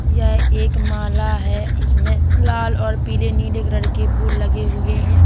यह एक माला है इसमें लाल और पीले नीले कलर के फूल लगे हुए हैं।